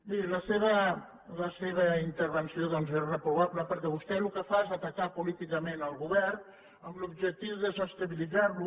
miri la seva intervenció doncs és reprovable perquè vostè el que fa és atacar políticament el govern amb l’objectiu de desestabilitzar lo